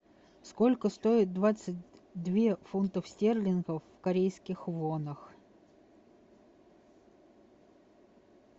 сколько стоит двадцать две фунтов стерлингов в корейских вонах